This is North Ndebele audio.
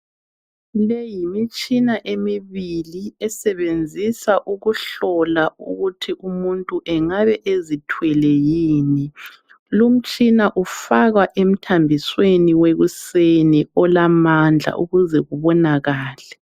Le yimitshina emibili esebenzisa ukuhlola ukuthi umuntu engabe ezithwele yini. Lumtshina ufakwa emthambisweni wekuseni olamandla ukuze ubonakale.